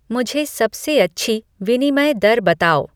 मुझे सबसे अच्छी विनिमय दर बताओ